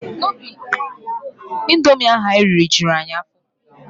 Indomi ahụ anyị riri juru anyị afọ.